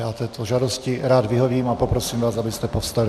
Já této žádosti rád vyhovím a poprosím vás, abyste povstali.